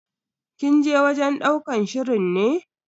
Kin je wajen ɗaukar shirin ne?